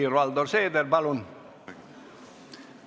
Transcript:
Helir-Valdor Seeder, palun!